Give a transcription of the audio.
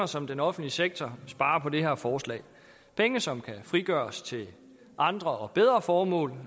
som den offentlige sektor sparer på det her forslag penge som kan frigøres til andre og bedre formål